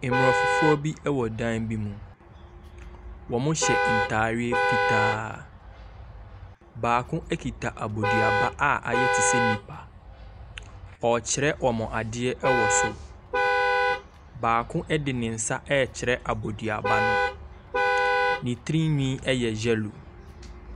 Mmorɔfo foɔ bi wɔ dan bi mu. Wɔhyɛ ntadeɛ fitaa. Baako kita aboduaba a ayɛ te sɛ nipa. Ɔrekyerɛ wɔn adeɛ wɔ so. Baako de ne nsa rekyerɛ aboduaba no. ne tirinwi yɛ yellow.